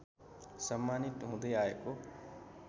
सम्मानित हुँदै आएको